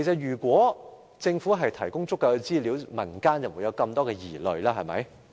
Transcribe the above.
如果政府已提供足夠資料，民間就不會有這麼多疑慮。